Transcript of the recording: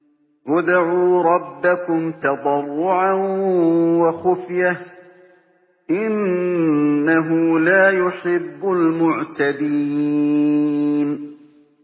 ادْعُوا رَبَّكُمْ تَضَرُّعًا وَخُفْيَةً ۚ إِنَّهُ لَا يُحِبُّ الْمُعْتَدِينَ